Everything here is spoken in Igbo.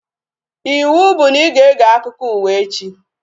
Ịwụ bụ na ị ga-ege akụkọ ụwa echi!